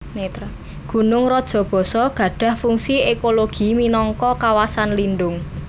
Gunung Rajabasa gadhah fungsi ekologi minangka kawasan lindhung